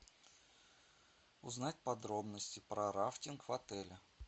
узнать подробности про рафтинг в отеле